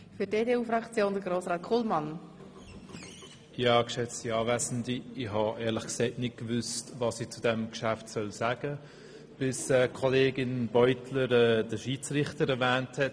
Ich wusste noch nicht, was ich zu diesem Geschäft sagen soll, bis Kollegin Beutler den Schiedsrichter erwähnt hat.